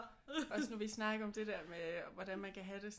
Også nu vi snakkede om det der med hvordan man kan have det